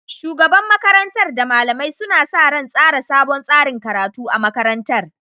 Shugaban makarantar da malamai suna sa ran tsara sabon tsarin karatu a makarantar